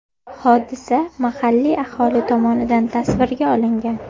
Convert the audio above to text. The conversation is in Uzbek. Hodisa mahalliy aholi tomonidan tasvirga olingan.